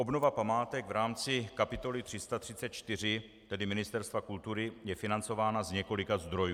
Obnova památek v rámci kapitoly 334, tedy Ministerstva kultury, je financována z několika zdrojů.